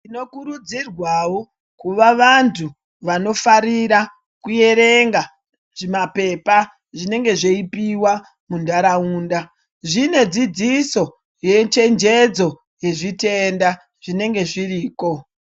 Tinokurudzirwawo kuva vanhu vanofarira kuerenga zvimapepa zvinenge zveipiwa munharaunda zvinedzidziso yechenjedzo yezvitenda zvinenge zviriko.